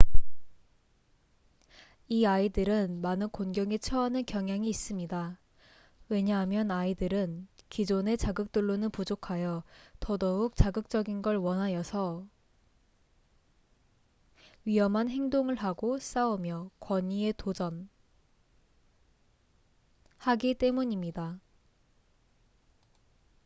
"이 아이들은 많은 곤경에 처하는 경향이 있습니다. 왜냐하면 아이들은 기존의 자극들로는 부족하여 더더욱 자극적인 걸 원하여서 "위험한 행동을 하고 싸우며 권위에 도전""하기 대문입니다.